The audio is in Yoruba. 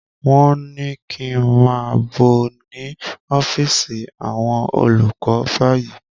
Wọ́n ní kí n máà bọ̀ ní ọ́físì àwọn olùkọ báyìí!